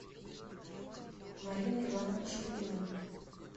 марина ивановна шульгина